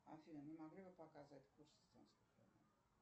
афина не могли бы показать курс